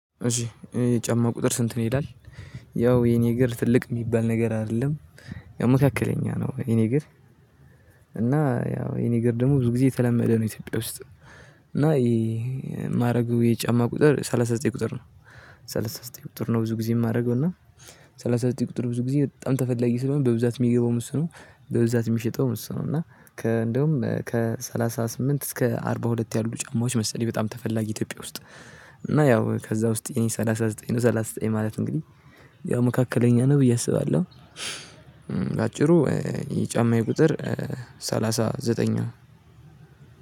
እሺ የጫማ ቁጥር ስንት ነው ይላል? ያው የኔ እግር ትልቅ ሚባል ነገር አይደለም። ያው መካከለኛ ነው የኔ እግር። እና ያው የኔ ግር ደሞ ብዙ ጊዜ የተለመደ ነው ኢትዮጵያ ውስጥ። እና ይሄ ማደርገው የጫማ ቁጥር ሰላሳ ዘጠኝ ቁጥር ነው። ሰላሳ ዘጠኝ ቁጥር ነው ብዙ ጊዜ የማደርገው እና። ሰላሳ ዘጠኝ ቁጥር ብዙ ጊዜ በጣም ተፈላጊ ስለሆነ በብዛት የሚገባውም እሱ ነው። በብዛት ሚሸጠውም እሱ ነው። እና ከ እንደውም ከሰላሳ ስምንት እስከ አርባ ሁለት ያሉ ጫማዎች መሰለኝ በጣም ተፈላጊ ኢትዮጵያ ውስጥ። እና ያው ከዛ ውስጥ የኔ ሰላሳ ዘጠኝ ነው ሰላሳ ዘጠኝ ማለት እንግዲህ ያው መካከለኛ ነው ብዬ አስባለሁ። በአጭሩ የጫማ ቁጥር ሰላሳ ዘጠኝ ነው።